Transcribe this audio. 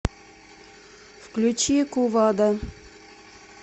включи кувада